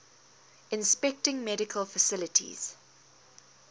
inspecting medical facilities